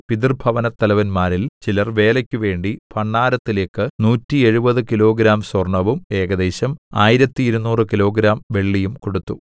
പിതൃഭവനത്തലവന്മാരിൽ ചിലർ വേലയ്ക്കുവേണ്ടി ഭണ്ഡാരത്തിലേക്ക് 170 കിലോഗ്രാം സ്വര്‍ണവും ഏകദേശം 1200 കിലോഗ്രാം വെള്ളിയും കൊടുത്തു